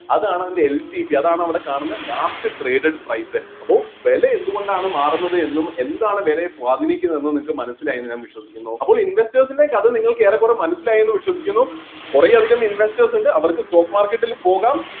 അതാണ് അതിൻ്റെ LTP അതാണ് അവിടെ കാണുന്ന last traded price അപ്പൊ വില എന്തുകൊണ്ടാണ് മാറുന്നത് എന്നും എന്താണ് വിലയെ സ്വാധിനിക്കുന്നത് എന്നും നിങ്ങൾക്ക് മനസ്സിലായി എന്നു ഞാൻ വിശ്വസിക്കുന്നു അപ്പോൽ investors ൻ്റെ കഥ ഏറെക്കുറെ മനസ്സിലായി എന്നു വിശ്വസിക്കുന്നു കുറെ അധികം investors ഇണ്ട് അവർക്ക് stock market ൽ പോകാം